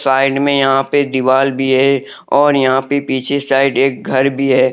End में यहां पे दीवाल भी है और यहां पे पीछे साइड एक घर भी है।